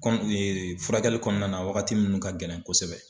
Kɔni furakɛli kɔnɔna na wagati minnu ka gɛlɛn kosɛbɛ.